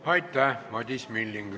Aitäh, Madis Milling!